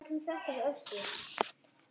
Er það nú víst?